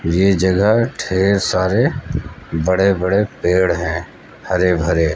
ये जगह ढेर सारे बड़े बड़े पेड़ हैं हरे भरे।